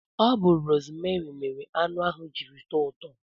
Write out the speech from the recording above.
Ọ bu rosmeri mere anụ ahụ jiri tọọ ụtọ